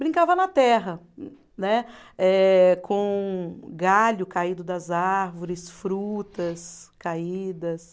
Brincava na terra, né, eh com galho caído das árvores, frutas caídas.